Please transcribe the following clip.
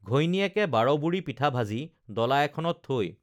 ঘৈণীয়েকে বাৰবুৰি পিঠা ভাজি ডলা এখনত থৈ